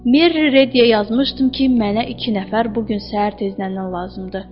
Merri Rediyə yazmışdım ki, mənə iki nəfər bu gün səhər tezdəndən lazımdır.